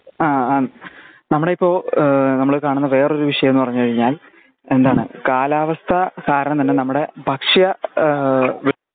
ആ ആ നമ്മുടെ ഇപ്പൊ ഏഹ് നമ്മൾ കാണുന്ന വേറെയൊരു വിഷയം ന്ന് പറഞ്ഞ് കഴിഞ്ഞാൽ എന്തണ് കാലാവസ്ഥ കാരണമെന്ന് നമ്മടെ ഭക്ഷ്യ ഏഹ് വി